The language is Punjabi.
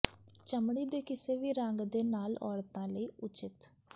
ਚਮੜੀ ਦੇ ਕਿਸੇ ਵੀ ਰੰਗ ਦੇ ਨਾਲ ਔਰਤਾਂ ਲਈ ਉਚਿਤ